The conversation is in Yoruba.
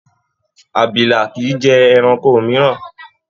Àbìlà kii jẹ ẹranko mìíràn.